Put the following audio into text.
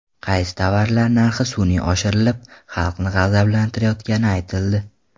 Qaysi tovarlar narxi sun’iy oshirilib, xalqni g‘azablantirayotgani aytildi .